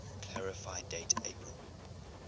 clarify date april